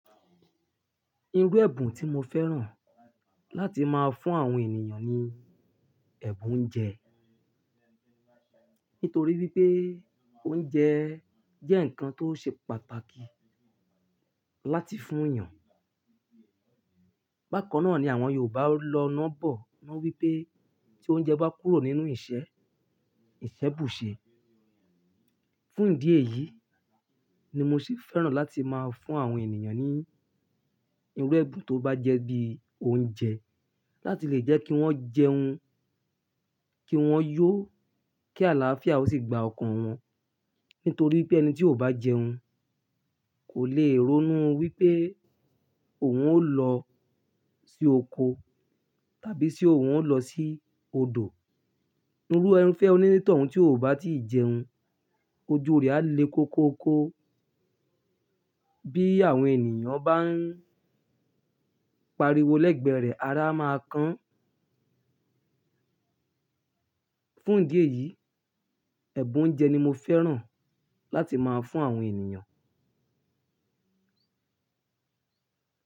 Irú ẹ̀bùn tí mo fẹ́ràn láti máa fún àwọn ènìyàn ni ẹ̀bùn oúnjẹ. Nítorí wípé oúnjẹ jẹ́ ǹkan tó ṣe pàtàkì láti fún yàn. Bákan náà ni àwọn Yorùbá lọ́ nà bọ, na wípé tí oúnjẹ bá kúrò nínú ìṣe, ìṣe bùṣe. Fún ìdí èyí ni mo ṣe fẹ́ràn láti máa fún àwọn ènìyàn ní irú ẹ̀bùn tó bá jẹ́ bí i oúnjẹ, láti lè jẹ́ kí wọ́n jẹun, kí wọ́n yó, kí àlàáfíà ó sì gba ọkàn wọn. Nítorí wípé ẹni tí ò bá jẹun kò lè ronú wípé òun ó lọ sí oko tàbí tí òun ó lọ sí odò. Irú irufẹ oní tọ̀ún tí ò bá tí ì jẹun, ojú rẹ á le koko kó. Bí àwọn ènìyàn bá ń pariwo lẹ́gbẹ̀ẹ́ rẹ̀, ará máa kán. Fún ìdí èyí, ẹ̀bùn oúnjẹ ni mo fẹ́ràn láti máa fún àwọn ènìyàn.